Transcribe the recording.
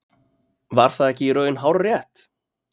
Var það ekki í raun hárrétt?